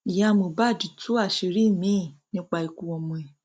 ìyá mohbad tú àṣírí miín nípa ikú ọmọ ẹ